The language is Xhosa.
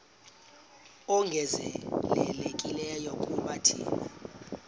ongezelelekileyo kuba thina